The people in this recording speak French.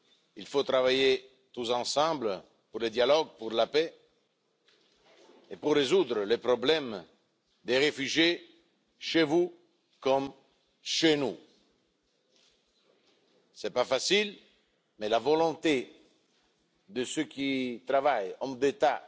Il faut travailler tous ensemble pour le dialogue, pour la paix et pour résoudre le problème des réfugiés, chez vous comme chez nous. Cela n'est pas facile, mais grâce à la volonté de ceux qui travaillent, hommes d'État